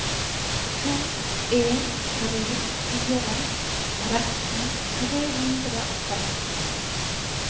to en tre fire tretten tre hundre og tretten